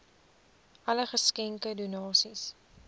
alle geskenke donasies